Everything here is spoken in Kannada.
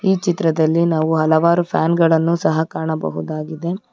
ಈ ಚಿತ್ರದಲ್ಲಿ ನಾವು ಹಲವಾರು ಪ್ಯಾನ್ ಗಳನ್ನು ಸಹ ಕಾಣಬಹುದಾಗಿದೆ.